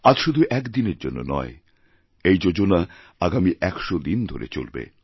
আজ শুধু একদিনের জন্য নয় এই যোজনা আগামী ১০০ দিন ধরে চলবে